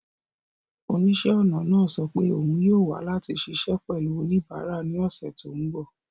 Oníṣẹ́-ọnà náà sọ pé òun yóò wà láti ṣiṣẹ́ pẹ̀lú oníbàárà ní ọ̀sẹ̀ tó ń bọ̀.